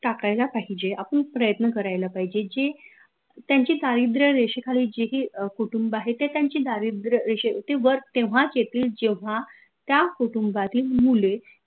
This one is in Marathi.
टाकायला पाहिजे आपन प्रयत्न करायला पाहिजे जे त्यांची दारिद्र रेषे खालील जे ही कुटुंब आहेत ते त्यांची दारिद्र ते वर तेव्हाच येतील जेव्हा त्या कुटुंबातील मुले